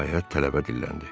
Nəhayət, tələbə dilləndi: